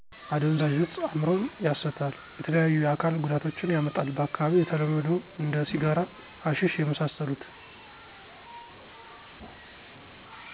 አደንዛዥ እጽ እምሮን ያሰታል የተለያዩ የአካል ጎዳቶችን ያመጣል በአካባቢው የተለመዶ እንደ ሲጋራ ሀሸሺ የመሳስሎት ...